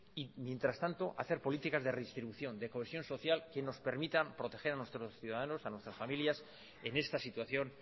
y mientras tanto hacer políticas de redistribución de cohesión social que nos permitan proteger a nuestros ciudadanos a nuestras familias en esta situación